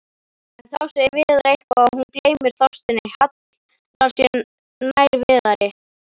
En þá segir Viðar eitthvað og hún gleymir Þorsteini, hallar sér nær Viðari.